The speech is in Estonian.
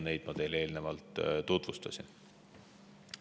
Neid ma teile eelnevalt tutvustasin.